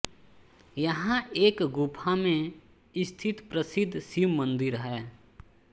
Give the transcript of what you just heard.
यहाँ एक गुफा में स्थित प्रसिद्ध शिव मन्दिर है